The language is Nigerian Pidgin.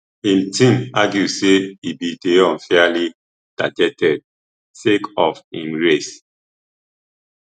im team argue say e bin dey unfairly targeted sake of im race